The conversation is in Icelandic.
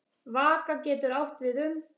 Vaka getur átt við um